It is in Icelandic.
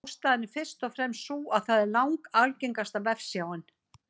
Ástæðan er fyrst og fremst sú að það er langalgengasta vefsjáin.